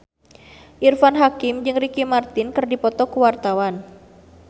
Irfan Hakim jeung Ricky Martin keur dipoto ku wartawan